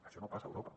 això no passa a europa